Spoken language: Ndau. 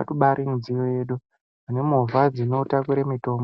itobairi mudziyo yedu ne movha dzino takure mutombo.